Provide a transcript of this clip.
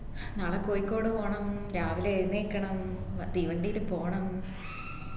നാളെ കോഴിക്കോട് പോണം രാവിലെ എഴുന്നേൽക്കണം തീവണ്ടില് പോണ